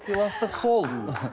сыйластық сол